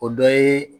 O dɔ ye